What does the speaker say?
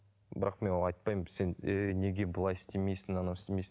бірақ мен олай айтпаймын сен ей неге былай істемейсің анау істемейсің